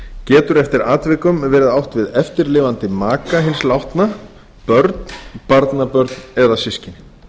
getur eftir atvikum verið átt við eftirlifandi maka hins látna börn barnabörn eða systkini